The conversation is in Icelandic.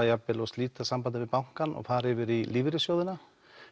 jafn vel að slíta sambandi við bankann og fara yfir í lífeyrissjóðina